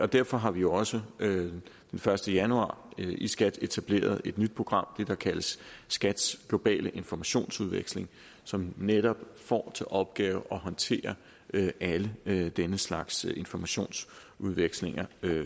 derfor har vi også den første januar i skat etableret et nyt program det det der kaldes skats globale informationsudveksling som netop får til opgave at håndtere alle alle den slags informationsudvekslinger